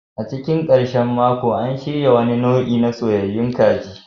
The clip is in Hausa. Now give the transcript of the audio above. A cikin ƙarshen mako, an shirya wani nau'i na soyayyayun kaji.